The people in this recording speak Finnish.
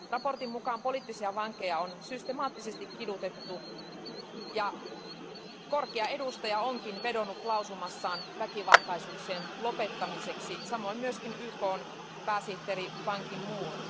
Raportin mukaan poliittisia vankeja on systemaattisesti kidutettu, ja korkea edustaja onkin vedonnut lausumassaan väkivaltaisuuksien lopettamiseksi, samoin myös YKn pääsihteeri Ban Ki moon.